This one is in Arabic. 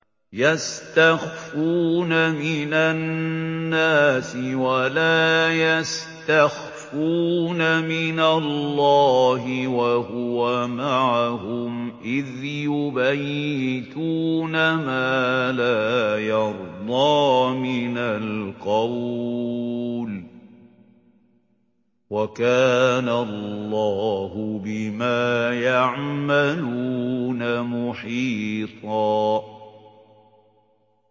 يَسْتَخْفُونَ مِنَ النَّاسِ وَلَا يَسْتَخْفُونَ مِنَ اللَّهِ وَهُوَ مَعَهُمْ إِذْ يُبَيِّتُونَ مَا لَا يَرْضَىٰ مِنَ الْقَوْلِ ۚ وَكَانَ اللَّهُ بِمَا يَعْمَلُونَ مُحِيطًا